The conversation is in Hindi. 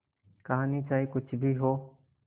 कहानी चाहे कुछ भी हो